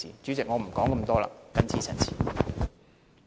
主席，我不再多說，謹此陳辭。